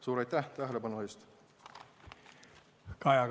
Suur aitäh tähelepanu eest!